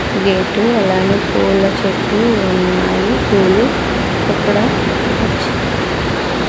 ఇవి ఎటు అలానే పూల చెట్లు ఉన్నాయి పూలు ఇక్కడ వచ్చి --